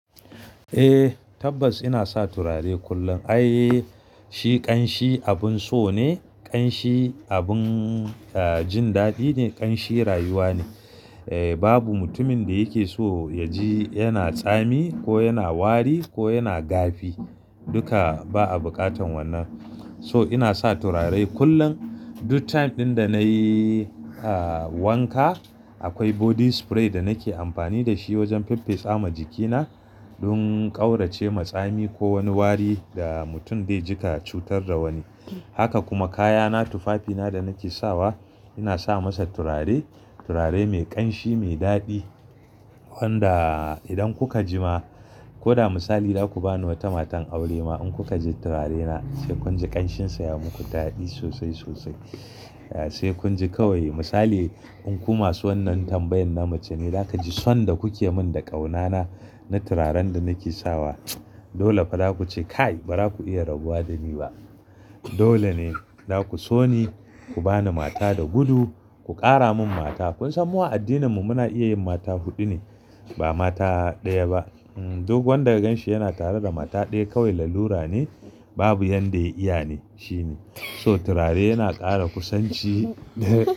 Eh, tabbas ina sa turare kullum. Ai shi ƙanshi abun so ne, ƙanshi abin, ah, jin daɗi ne, ƙanshi rayuwa ne. Eh, babu mutumin da yake so ya ji yana tsami ko yana wari ko yana gafi. Duka ba a bukatan wannan. So ina sa turare kullum. Duk time ɗin da na yi, ah, wanka akwai body spray da nake amfani da shi wajen faffe sama jikina don ƙaurace ma tsami ko wani wari da mutum zai ji ka cutar da wani. Haka kuma kayana tufafina da nake sawa ina sa masa turare, turare mai ƙanshi, mai daɗi wanda idan kuka ji ma ko da misali za ku bani wata matan aure ma in kuka ji turarena sai kun ji ƙanshinsa ya muku daɗi sosai, sosai. Sai kun ji kawai misali in ku masu wannan tambayan na mace ne za ka ji son da kuke min da ƙaunana na turaren da nake sawa. Dole fa za ku ce kai baza ku iya rabuwa da ni ba. Dole ne za ku so ni, ku bani mata da gudu, ku ƙara min mata. Kun san mu a addininmu muna iya yin mata huɗu ne ba mata ɗaya ba. Duk wanda ganshi yana tare da mata ɗaya kawai lalura ne, babu yanda ya iya ne shine. So turare yana ƙara kusanci.